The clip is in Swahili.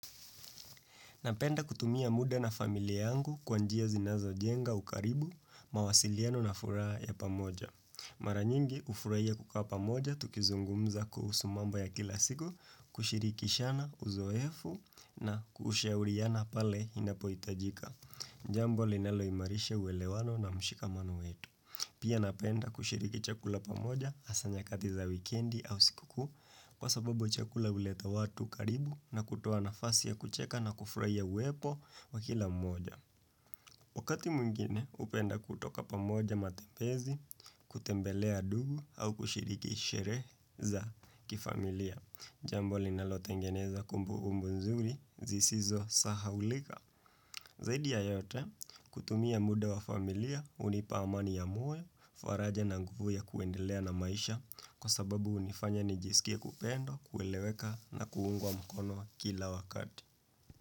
Napenda kutumia muda na familia yangu kwa njia zinazo jenga ukaribu, mawasiliano na furaha ya pamoja. Maranyingi ufurahia kukaa pamoja, tukizungumza kuhusu mambo ya kila siku, kushirikishana uzoefu na kushauriana pale inapohitajika. Jambo linalo imarisha uwelewano na mshikamano wetu. Pia napenda kushiriki chakula pamoja hasa nyakati za wikendi au sikukuu Kwa sababu chakula huleta watu karibu na kutoa nafasi ya kucheka na kufuraia uwepo wa kila mmoja Wakati mwingine hupenda kutoka pamoja matembezi, kutembelea dugu au kushiriki sheree za kifamilia Jambo linalotengeneza kumbukumbu nzuri zisizo sahaulika Zaidi ya yote, kutumia muda wa familia, hunipa amani ya moyo, faraja na nguvu ya kuendelea na maisha kwa sababu hunifanya nijisikie kupendwa, kueleweka na kuungwa mkono kila wakati.